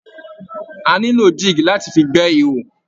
A nílò jig láti fi gbé ihò.